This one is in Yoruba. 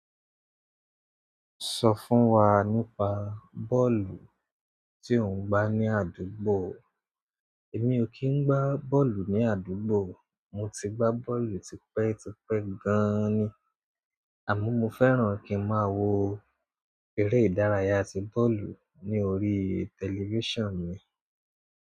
Sọ fún wa nípa bọ́ọ̀lù tí ò ń gbá ní àdúgbò. Èmi ò kí ń gbá bọ́ọ̀lù ní àdúgbò. Mo ti gba bọ́ọ̀lù ti pẹ ti pẹ gan ni àmọ́ mo fẹ́ràn kí n máa wo eré ìdárayá ti bọ́ọ̀lù ní orí tẹlifíṣàn mi.